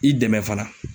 I dɛmɛ fana